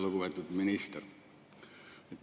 Lugupeetud minister!